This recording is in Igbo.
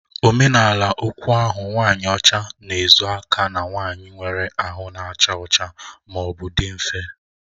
Omenala okwu ahụ"nwanyị ọcha na-ezo aka na nwanyị nwere ahụ na-acha ọcha ma ọ bụ dị nfe"